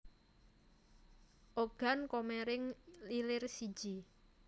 Ogan Komering Ilir siji